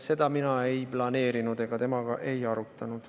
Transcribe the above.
Seda mina ei planeerinud ja temaga ei arutanud.